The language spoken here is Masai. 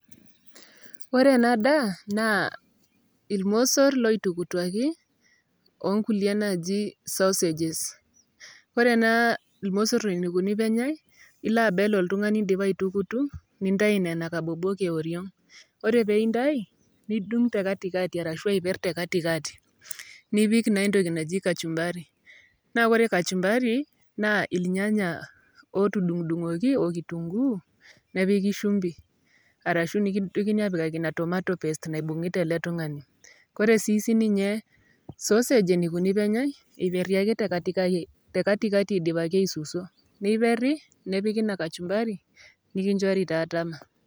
Ore enadaa, naa irmosor loitukutuaki, onkulie naji sausages. Ore ena irmosor enikuni penyai, ila abel oltung'ani idipa aitukutu, nintai nena kabobok eoriong'. Ore peintai, nidung' tekatikati, arashu aiper tekatikati. Nipik naa entoki naji kachumbari. Na ore kachumbari, naa irnyanya otudung'dung'oki okitunkuu, nepiki shumbi, arashu nikintokini apikaki ina tomato paste naibung'ita ele tung'ani. Kore si sininye sausage enikuni peenyai, iperri ake tekatikati idipaki aisusuo. Niperri, nepiki ina kachumbari ,nikinchori taa tama.